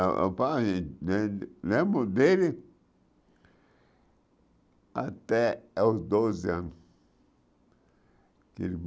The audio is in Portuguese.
Ãh ãh pai lem lembro dele até os doze anos.